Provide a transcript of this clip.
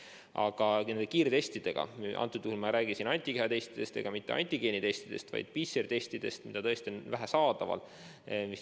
Aga nüüd kiirtestidest – antud juhul ma ei räägi siin antikehatestidest ega antigeenidestidest, vaid PCR-testidest, mida tõesti on vähe saadaval.